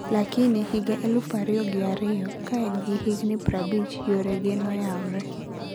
lakini higa elufu ariyo gi ariyo, kaen gi higni prabich yore ge noyaore.